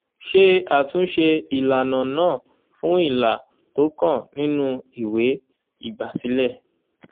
ṣé àtúnṣe ìlànà náà fún ilà tó kàn nínú ìwé ìgbàsílẹ̀.